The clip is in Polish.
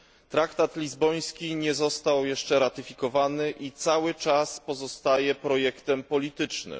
Traktat lizboński nie został jeszcze ratyfikowany i cały czas pozostaje projektem politycznym.